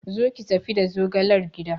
Zo ki tafi da zogalar gida!